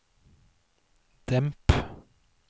demp